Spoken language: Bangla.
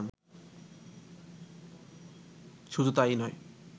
শুধুই তাই নয়